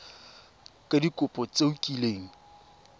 ka dikopo tse o kileng